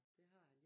Det har han